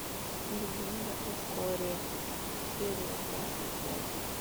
легенда о корре серия двадцать пять